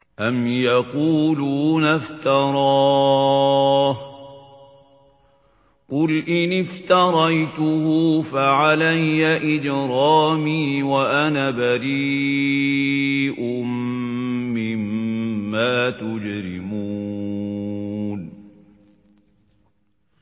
أَمْ يَقُولُونَ افْتَرَاهُ ۖ قُلْ إِنِ افْتَرَيْتُهُ فَعَلَيَّ إِجْرَامِي وَأَنَا بَرِيءٌ مِّمَّا تُجْرِمُونَ